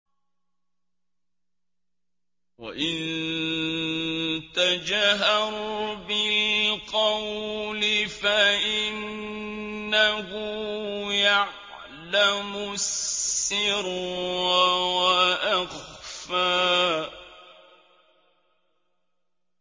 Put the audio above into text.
وَإِن تَجْهَرْ بِالْقَوْلِ فَإِنَّهُ يَعْلَمُ السِّرَّ وَأَخْفَى